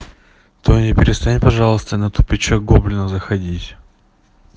таня перестань пожалуйста на тупичок гоблина заходить